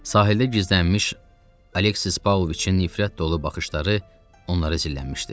Sahildə gizlənmiş Alexis Pavloviçin nifrət dolu baxışları onlara zillənmişdi.